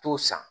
T'o san